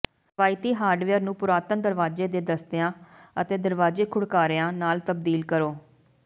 ਰਵਾਇਤੀ ਹਾਰਡਵੇਅਰ ਨੂੰ ਪੁਰਾਤਨ ਦਰਵਾਜ਼ੇ ਦੇ ਦਸਤਿਆਂ ਅਤੇ ਦਰਵਾਜ਼ੇ ਘੁੜਕਾਰਿਆਂ ਨਾਲ ਤਬਦੀਲ ਕਰੋ